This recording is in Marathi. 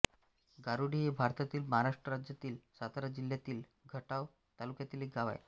गारूडी हे भारतातील महाराष्ट्र राज्यातील सातारा जिल्ह्यातील खटाव तालुक्यातील एक गाव आहे